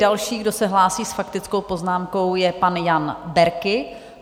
Další, kdo se hlásí s faktickou poznámkou, je pan Jan Berki.